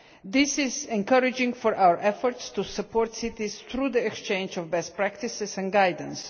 This is encouraging for our efforts to support cities through the exchange of best practices and guidance.